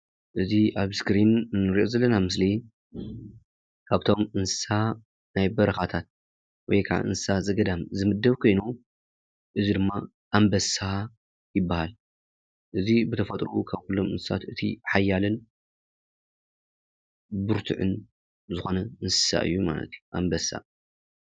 እዚ አብ እስኪሪን እንሪኦ ዘለና ምስሊ ካብቶም እንሰሳ ናይ በረካታት ወይ እንሰሳ ዘገዳም ዝምደብ ኮይኑ እዚ ድማ ኣንበሳ ይባሃል ።እዚ ብተፈጥርኡ ካኩሎም ሓያልን ብርትዑን ዝኮነ እንሰሳ እዩ ማለት እዩ ኣንበሳ፡፡